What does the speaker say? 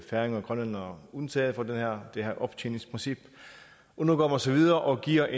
færinger og grønlændere undtaget fra det her optjeningsprincip nu går man så videre og giver